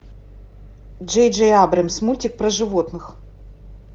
джей джей абрамс мультик про животных